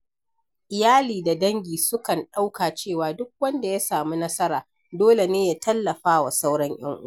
Iyali da dangi sukan ɗauka cewa duk wanda ya samu nasara dole ne ya tallafa wa sauran ‘yan uwa.